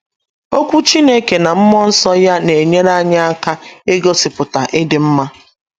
Okwu Chineke na mmụọ nsọ ya na - enyere anyị aka igosipụta ịdị mma